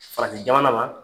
Farajɛjamana na